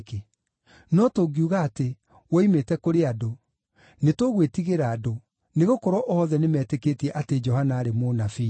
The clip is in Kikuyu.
No tũngiuga atĩ, ‘Woimĩte kũrĩ andũ’, nĩtũgwĩtigĩra andũ, nĩgũkorwo othe nĩmeetĩkĩtie atĩ Johana aarĩ mũnabii.”